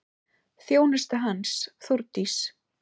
Þjónusta hans, Þórdís